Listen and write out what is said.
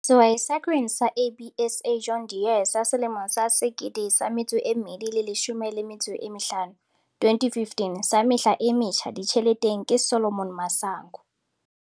Sehwai sa Grain Sa, ABSA, John Deere sa Selemo sa 2015 sa Mehla e Metjha Ditjheleteng ke Solomon Masango.